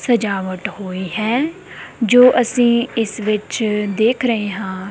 ਸਜਾਵਟ ਹੋਈ ਹੈ ਜੋ ਅਸੀਂ ਇਸ ਵਿੱਚ ਦੇਖ ਰਹੇ ਹਾਂ।